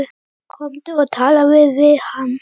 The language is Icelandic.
Komdu og talaðu við hann!